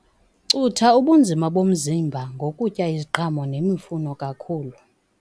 Cutha ubunzima bomzimba ngokutya iziqhamo nemifuno kakhulu.